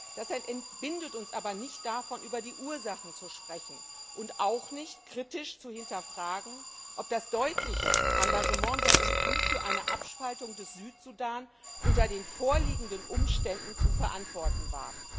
Das entbindet uns aber nicht davon, über die Ursachen zu sprechen, und auch nicht davon, kritisch zu hinterfragen, ob das deutliche Engagement der EU für eine Abspaltung des Südsudan unter den vorliegenden Umständen zu verantworten war.